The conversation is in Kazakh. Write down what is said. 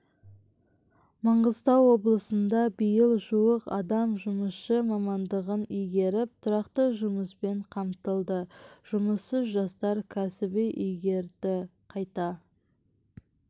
маңғыстау облысында биыл жуық адам жұмысшы мамандығын игеріп тұрақты жұмыспен қамтылды жұмыссыз жастар кәсіп игерді қайта